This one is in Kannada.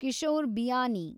ಕಿಶೋರ್ ಬಿಯಾನಿ